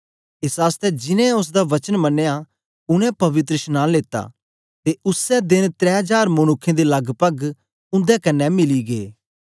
एस आसतै जिनैं ओसदा वचन मनया उनै पवित्रशनांन लेता ते उसै देन त्रै जार मनुक्खें दें लगपग उंदे कन्ने मिली गै